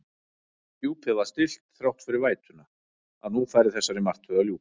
Djúpið var stillt þrátt fyrir vætuna, að nú færi þessari martröð að ljúka.